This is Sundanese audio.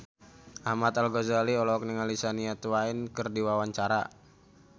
Ahmad Al-Ghazali olohok ningali Shania Twain keur diwawancara